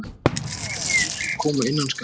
Umfjöllun og viðtöl koma innan skamms.